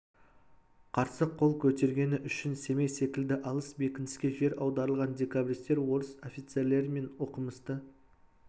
қарсы қол көтергені үшін семей секілді алыс бекініске жер аударылған декабристер орыс офицерлері мен оқымысты